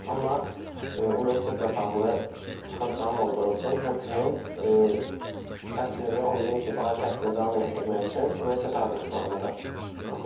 Amma universitetlə bağlı çıxıntıların olduğu üçün, həmçinin təhsilimi 11-ci ali təhsili davam elətdirmək üçün universitet hazırlıqlarını da oxuyurdum.